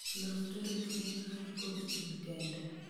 Los tarik ne an kod in kende